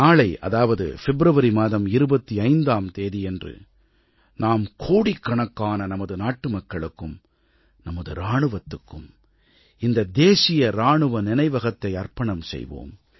நாளை அதாவது பிப்ரவரி மாதம் 25ஆம் தேதியன்று நாம் கோடிக்கணக்கான ந்மது நாட்டு மக்களுக்கும் நமது இராணுவத்துக்கும் இந்த தேசிய இராணுவ நினைவகத்தை அர்ப்பணம் செய்வோம்